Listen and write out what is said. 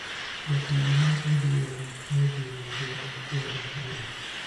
Jatelo mar ODM nojiwo joma kwedo burano